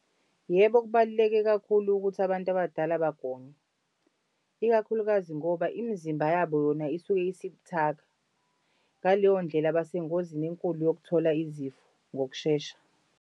Yebo, kubaluleke kakhulu ukuthi abantu abadala bagonywe. Ikakhulukazi ngoba imizimba yabo yona isuke isibuthaka, ngaleyo ndlela basengozini enkulu yokuthola izifo, ngokushesha.